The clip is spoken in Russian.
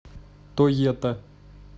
тоета